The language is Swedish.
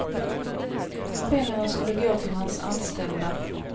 Pengarna skulle gå till hans anställda.